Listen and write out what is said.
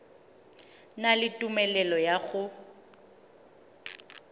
na le tumelelo ya go